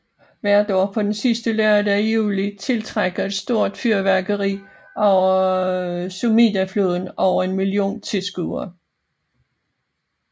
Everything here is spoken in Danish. Hvert år på den sidste lørdag i juli tiltrækker et stort fyrværkeri over Sumidafloden over en million tilskuere